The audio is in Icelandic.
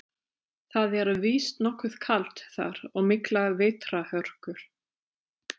Það er víst nokkuð kalt þar og miklar vetrarhörkur.